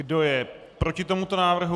Kdo je proti tomuto návrhu?